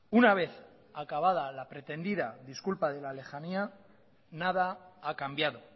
una vez acabada la pretendida disculpa de la lejanía nada ha cambiado